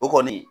O kɔni